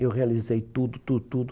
Eu realizei tudo, tudo, tudo.